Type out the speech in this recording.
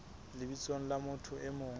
lebitsong la motho e mong